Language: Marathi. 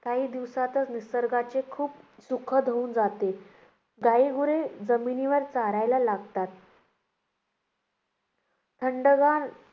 काही दिवसातच निसर्गाचे खूप सुखद होऊन जाते. गाईगुरे जमिनीवर चरायला लागतात. थंडगार